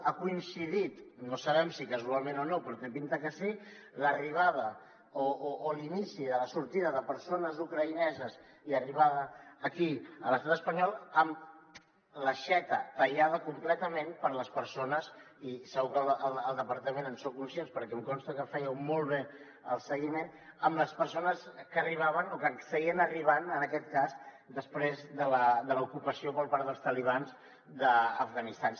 ha coincidit no sabem si casualment o no però té pinta que sí l’inici de la sortida de persones ucraïneses i l’arribada aquí a l’estat espanyol amb l’aixeta tallada completament per a les persones i segur que al departament en sou conscients perquè em consta que en fèieu molt bé el seguiment que arribaven o que seguien arribant en aquest cas després de l’ocupació per part dels talibans d’afganistan